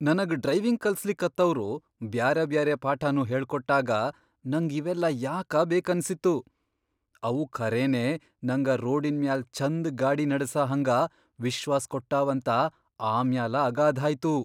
ನನಗ್ ಡ್ರೈವಿಂಗ್ ಕಲಸ್ಲಿಕತ್ತವ್ರು ಬ್ಯಾರೆಬ್ಯಾರೆ ಪಾಠಾನೂ ಹೇಳ್ಕೊಟ್ಟಾಗ ನಂಗ್ ಇವೆಲ್ಲಾ ಯಾಕ ಬೇಕನ್ಸಿತ್ತು. ಅವು ಖರೇನೆ ನಂಗ ರೋಡಿನ್ ಮ್ಯಾಲ್ ಛಂದ್ ಗಾಡಿ ನಡಸಹಂಗ ವಿಶ್ವಾಸ್ ಕೊಟ್ಟಾವಂತ ಆಮ್ಯಾಲ ಅಗಾಧಾಯ್ತು.